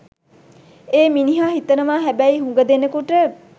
ඒ මිනිහා හිතනවා හැබැයි හුඟ දෙනෙකුට